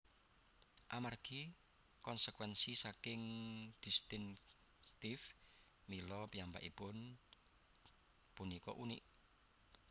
Amargi konsekwénsi saking distincttif mila piyambakipun punika unik